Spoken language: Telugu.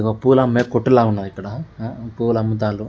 ఇగో పూలు అమ్మే కొట్టు లా ఉన్నది ఇక్కడ పూలు అమ్ముతానడు.